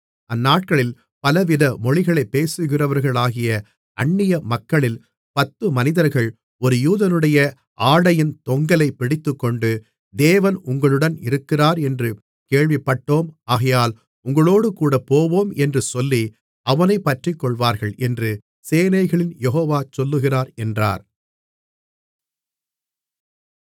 அந்நாட்களில் பலவித மொழிகளைப் பேசுகிறவர்களாகிய அன்னியமக்களில் பத்து மனிதர்கள் ஒரு யூதனுடைய ஆடையின் தொங்கலைப் பிடித்துக்கொண்டு தேவன் உங்களுடன் இருக்கிறார் என்று கேள்விப்பட்டோம் ஆகையால் உங்களோடேகூடப் போவோம் என்று சொல்லி அவனைப் பற்றிக்கொள்வார்கள் என்று சேனைகளின் யெகோவா சொல்லுகிறார் என்றார்